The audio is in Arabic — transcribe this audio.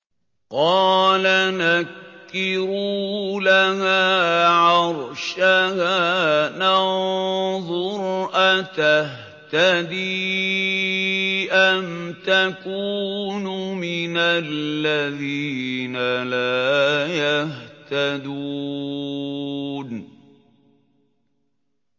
قَالَ نَكِّرُوا لَهَا عَرْشَهَا نَنظُرْ أَتَهْتَدِي أَمْ تَكُونُ مِنَ الَّذِينَ لَا يَهْتَدُونَ